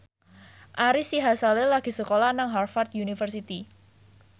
Ari Sihasale lagi sekolah nang Harvard university